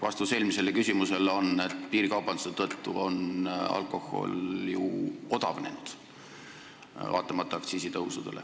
Vastus eelmisele küsimusele on, et piirikaubanduse tõttu on alkohol ju odavnenud, kuigi aktsiisid on tõusnud.